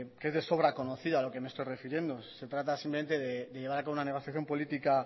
que es de sobra conocida a lo que me estoy refiriendo se trata simplemente de llevar a cabo una negociación política